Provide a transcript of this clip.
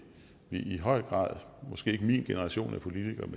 i høj grad måske ikke min generation af politikere